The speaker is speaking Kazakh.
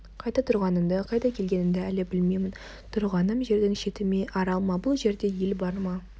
қайда тұрғанымды қайдан келгенімді әлі білмеймін тұрғаным жердің шеті ме арал ма бұл жерде ел бар ма